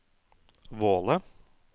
Våle